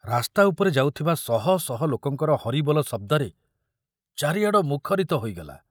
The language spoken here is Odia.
ରାସ୍ତା ଉପରେ ଯାଉଥିବା ଶହ ଶହ ଲୋକଙ୍କର ହରିବୋଲ ଶବ୍ଦରେ ଚାରିଆଡ଼ ମୁଖରିତ ହୋଇଗଲା।